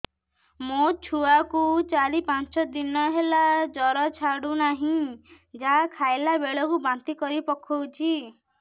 ମୋ ଛୁଆ କୁ ଚାର ପାଞ୍ଚ ଦିନ ହେଲା ଜର ଛାଡୁ ନାହିଁ ଯାହା ଖାଇଲା ବେଳକୁ ବାନ୍ତି କରି ପକଉଛି